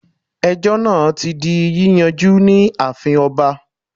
Ejó náà ti di yíyanjú ní ààfin oba